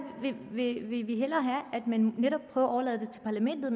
vil vi hellere have at man netop prøver at overlade det til parlamentet